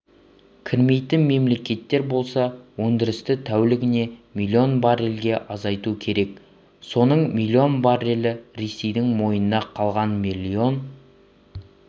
кірмейтін мемлекеттер болса өндірісті тәулігіне миллион баррельге азайтуы керек соның миллион баррелі ресейдің мойнында қалған миллион